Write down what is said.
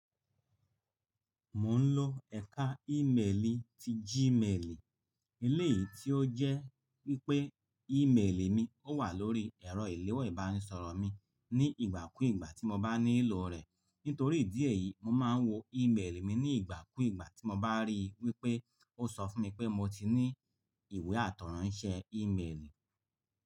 Mò ń lò ẹ̀ka ímeèlì ti Gmail, eléyìí tí ó jẹ́ wípé ímeèlì mi ó wà lórí ẹ̀rọ ìléwọ́ ìbánisọ̀rọ̀ mi ní ìgbà kú ìgbà tí mo bá nílò rẹ̀. Nítorí ìdí èyí, mo máa ń wo ímeèlì mi ní ìgbà kú ìgbà tí mo bá rí i wípé ó sọ fún mi pé mo ti ní ìwé àtọ̀runṣẹ́ ímeèlì.